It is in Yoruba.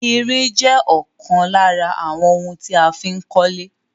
Irin jẹ́ ọ̀kan lára àwọn ohun tí a fí ń kólé